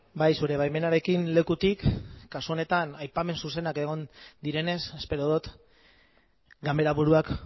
bai zure baimenarekin lekutik kasu honetan aipamen zuzenak egon direnez espero dut ganberaburuak